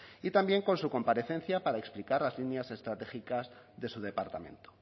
y también con su comparecencia para explicar las líneas estratégicas de su departamento